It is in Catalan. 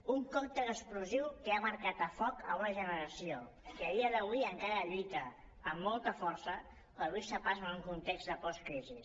un còctel explosiu que ha marcat a foc una generació que a dia d’avui encara lluita amb molta força per obrir se pas en un context de postcrisi